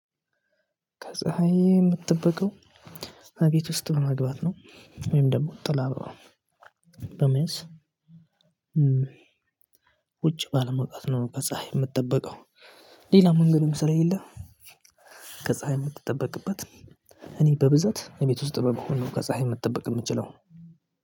ከፀሀይ የምደበቀው እቤት ውስጥ በመግባት ነው ወይም ደግሞ ጥላ በመያዝ። ውጪ ባለመዉጣት ነው። ከፀሀይ የምደበቀው ሌላ መንገድም ስለሌለ። ከፀሀይ የምደበቅበት እኔ በብዛት እቤት ውስጥ በመሆን ነው። ከፀሀይ መደበቅ የምችለው።